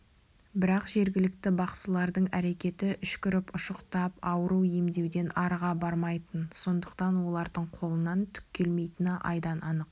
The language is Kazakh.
бірақ жергілікті бақсылардың әрекеті үшкіріп ұшықтап ауру емдеуден арыға бармайтын сондықтан олардың қолынан түк келмейтіні айдан анық